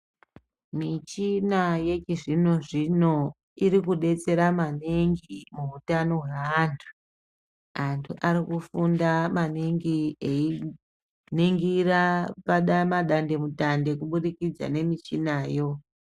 Michina yechizvino zvino irikudetsera maningi muutano hweantu antu arikufunda maningi einingira madande mutande kubudidza nemuchina yo